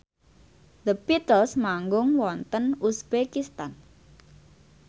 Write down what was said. The Beatles manggung wonten uzbekistan